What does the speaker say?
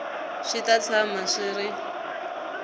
swi ta tshama swi ri